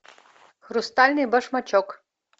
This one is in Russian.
хрустальный башмачок